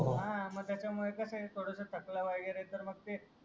हा मग त्याचमुडे कस आहे थोडस थकल वागेरे तर मग ते